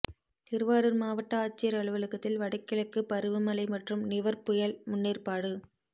திருவாரூா் மாவட்ட ஆட்சியா் அலுவலகத்தில் வடகிழக்கு பருவமழை மற்றும் நிவா் புயல் முன்னேற்பாடு